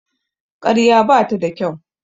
Ƙarya bata da kyau.